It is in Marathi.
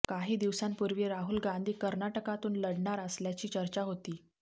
काही दिवसांपूर्वी राहुल गांधी कर्नाटकातून लढणार असल्याची चर्चा होती